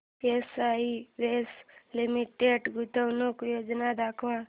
Asian Paints Limited गुंतवणूक योजना दाखव